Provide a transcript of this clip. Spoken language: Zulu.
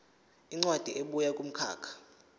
incwadi ebuya kumkhakha